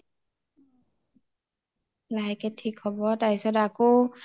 লাহেকে থিক হব তাৰপিছত আকৌ